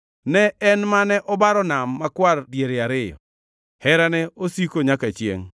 ne En mane obaro Nam Makwar diere ariyo; Herane osiko nyaka chiengʼ.